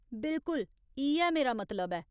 बिलकुल इ'यै मेरा मतलब ऐ।